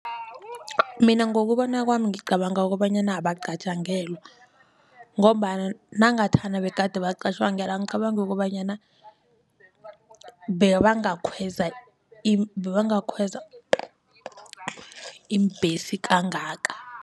Mina ngokubona kwami ngicabanga kobanyana abacatjangelwa ngombana nangathana begade bacatjangelwa angicabangi kobanyana bebangakhweza bebangakhweza iimbhesi kangaka.